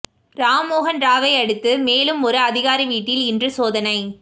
ராம்மோகன் ராவை அடுத்து மேலும் ஒரு அதிகாரி வீட்டில் இன்று சோதனை